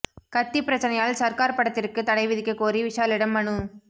கத்தி பிரச்சனையால் சர்கார் படத்திற்கு தடை விதிக்கக் கோரி விஷாலிடம் மனு